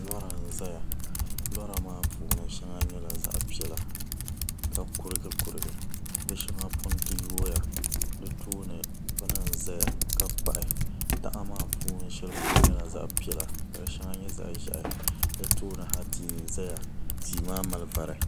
lɔra n-zaya lɔra maa puuni shɛŋa nyɛla zaɣ' piɛla ka kurigi kurigi di shɛŋa punti yuui ya di tooni bini n-zaya ka kpuɣi taha maa puuni shɛli polo nyɛla zaɣ' piɛla ka di shɛŋa nyɛ zaɣ' ʒɛhi di tooni ha tihi n-zaya tia maa mali vari.